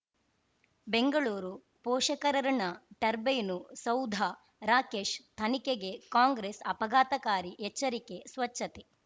ಬೆಂಗಳೂರು ಪೋಷಕರಋಣ ಟರ್ಬೈನು ಸೌಧ ರಾಕೇಶ್ ತನಿಖೆಗೆ ಕಾಂಗ್ರೆಸ್ ಅಪಘಾತಕಾರಿ ಎಚ್ಚರಿಕೆ ಸ್ವಚ್ಛತೆ